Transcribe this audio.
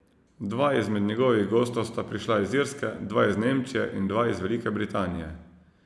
Dva izmed njegovih gostov sta prišla iz Irske, dva iz Nemčije in dva iz Velike Britanije.